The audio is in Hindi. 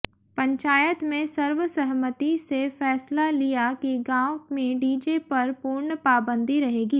पंचायत में सर्व सहमति से फैसला लिया कि गांव में डीजे पर पूर्ण पाबंदी रहेगी